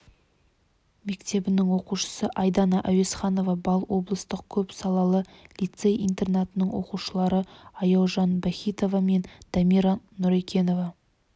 мектебінің оқушысы айдана әуезханова балл облыстық көп салалы лицей-интернатының оқушылары аяужан бахитова мен дамира нұрекенова